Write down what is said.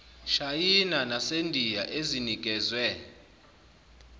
shayina nasendiya ezinikezwe